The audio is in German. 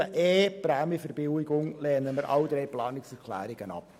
Bei 7.e Prämienverbilligungen lehnen wir alle drei Planungserklärungen ab.